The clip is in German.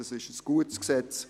Es ist ein gutes Gesetz.